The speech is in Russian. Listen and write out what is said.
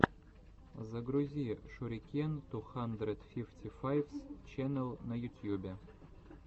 загрузи шурикен ту хандред фифти файвс ченел на ютьюбе